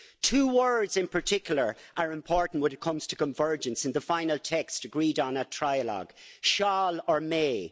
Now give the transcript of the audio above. Two words in particular are important when it comes to convergence in the final text agreed on at trilogue shall' or may'.